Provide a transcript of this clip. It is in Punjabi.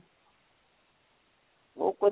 ਓ ਪਾ ਜੀ